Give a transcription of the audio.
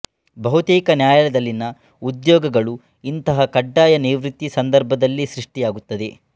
ಬಹುತೇಕ ನ್ಯಾಯಲಯದಲ್ಲಿನ ಉದ್ಯೋಗಗಳು ಇಂಥಹ ಕಡ್ಡಾಯ ನಿವೃತ್ತಿಯ ಸಂದರ್ಭದಲ್ಲೆ ಸೃಷ್ಟಿಯಾಗುತ್ತದೆ